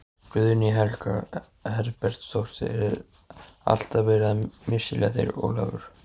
Guðný Helga Herbertsdóttir: Er alltaf verið að misskilja þig Ólafur?